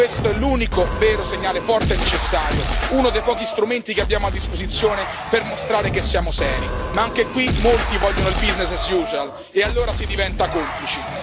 Questo è l'unico vero segnale forte e necessario, uno dei pochi strumenti che abbiamo a disposizione per mostrare che siamo seri, ma anche qui molti vogliono il business as usual e allora si diventa complici.